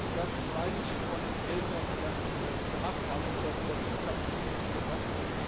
Das weiß ich von Eltern, die das gemacht haben oder die das Glück hatten, Zwillinge zu bekommen.